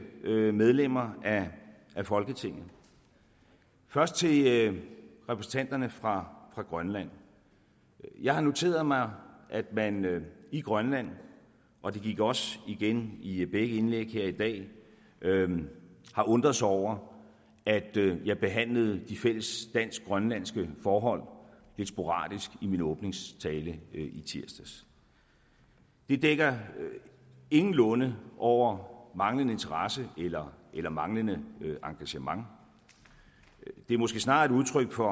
medlemmer af folketinget først til repræsentanterne fra grønland jeg har noteret mig at man i grønland og det gik også igen i begge indlæg her i dag har undret sig over at jeg behandlede de fælles dansk grønlandske forhold lidt sporadisk i min åbningstale i tirsdags det dækker ingenlunde over manglende interesse eller eller manglende engagement det er måske snarere et udtryk for